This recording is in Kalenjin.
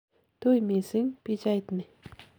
tui mising pichait ni